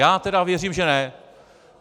Já teda věřím, že ne.